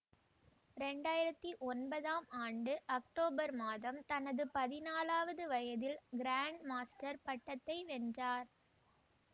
ரேண்டயிரத்தி ஒன்பதாம் ஆண்டு அக்டோபர் மாதம் தனது பதினாலாவது வயதில் கிராண்ட் மாஸ்டர் பட்டத்தை வென்றார்